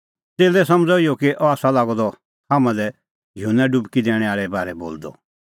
च़ेल्लै समझ़अ इहअ कि अह आसा लागअ द हाम्हां लै युहन्ना डुबकी दैणैं आल़े बारै बोलदअ